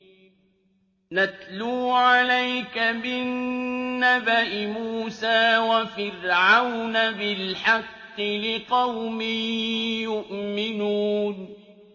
نَتْلُو عَلَيْكَ مِن نَّبَإِ مُوسَىٰ وَفِرْعَوْنَ بِالْحَقِّ لِقَوْمٍ يُؤْمِنُونَ